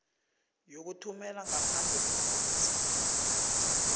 yokuthumela ngaphandle iimfesi